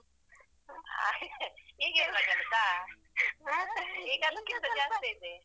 ಹಾಗೆ ಈಗ ಇಲ್ವಾ ಕೆಲಸ, ಈಗ ಅದಕ್ಕಿಂತ ಜಾಸ್ತಿ ಇದೆ.